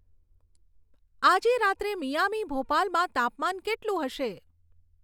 આજે રાત્રે મિયામી ભોપાલમાં તાપમાન કેટલું હશે